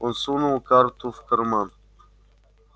он сунул карту в карман